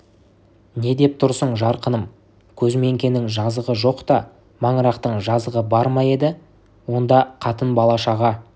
не деп тұрсың жарқыным көзміңкенің жазығы жоқ та маңырақтың жазығы бар ма еді онда қатын бала-шаға